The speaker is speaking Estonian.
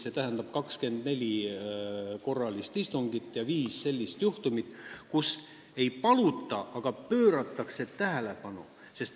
See tähendab, 24 korralist istungit ja viis sellist juhtumit, kui ei paluta, aga pööratakse tähelepanu.